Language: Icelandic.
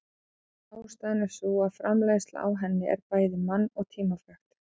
Ástæðan er sú að framleiðsla á henni en bæði mann- og tímafrek.